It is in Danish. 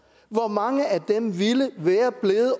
hvor mange af dem ville være blevet